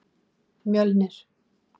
Mjölnir